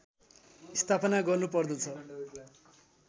स्थापना गर्नुपर्दछ